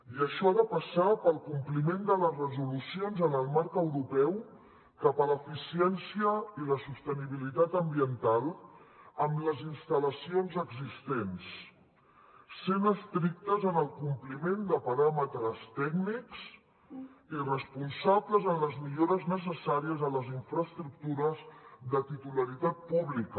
i això ha de passar pel compliment de les resolucions en el marc europeu cap a l’eficiència i la sostenibilitat ambiental amb les instal·lacions existents sent estrictes en el compliment de paràmetres tècnics i responsables en les millores necessàries a les infraestructures de titularitat pública